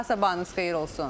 Bir daha sabahınız xeyir olsun.